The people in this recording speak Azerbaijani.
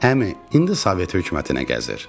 Əmi, indi Sovet hökumətinə gəzir.